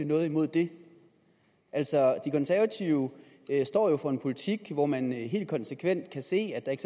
noget imod det de konservative står jo for en politik hvor man helt konsekvent kan se at der